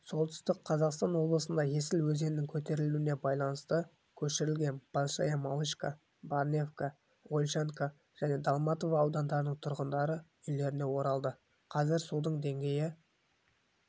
солтүстік қазақстан облысында есіл өзенінің көтерілуіне байланысты көшірілген большая малышка барневка ольшанка және долматово ауылдарының тұрғындары үйлеріне оралды қазір судың деңгейі